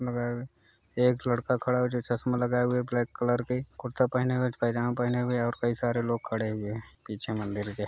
मगर एक लड़का खड़ा है जो चश्मा लगाए हुए ब्लैक कलर के कुर्ता पहने हुए पैजामा पहने हुए है और काई सारे लोग खड़े हुए हैं पीछे मंदिर के।